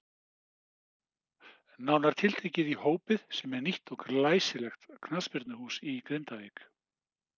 Nánar tiltekið í Hópið sem er nýtt og glæsilegt knattspyrnuhús í Grindavík.